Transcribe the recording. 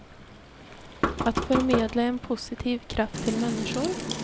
Att förmedla en positiv kraft till människor.